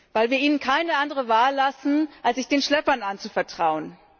Weil wir ihnen keine andere Wahl lassen, als sich den Schleppern anzuvertrauen.